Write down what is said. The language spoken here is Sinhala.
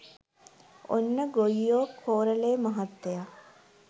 ඔන්න ගොයියෝ කෝරළේ මහත්තය